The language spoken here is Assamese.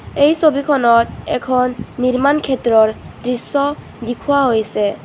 এই ছবিখনত এখন নিৰ্মাণ ক্ষেত্ৰৰ দৃশ্য দিখুৱা হৈছে.